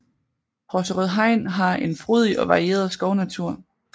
Horserød Hegn har en frodig og varieret skovnatur